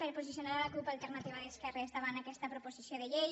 per a posicionar la cup alternativa d’esquerres davant aquesta proposició de llei